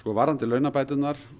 varðandi launabæturnar